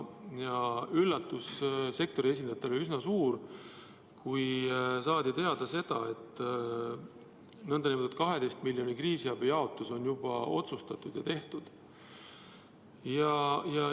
Sektori esindajate üllatus oli üsna suur, kui saadi teada, et 12 miljoni nn kriisiabi jaotus on juba otsustatud.